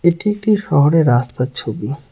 এটি একটি শহরে রাস্তার ছবি।